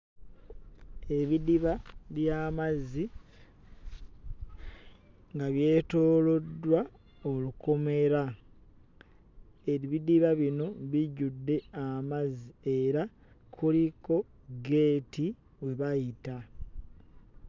Ebidiba by'amazzi nga byetooloddwa olukomera. Ebidiba bino bijjudde amazzi era kuliko ggeeti we bayita.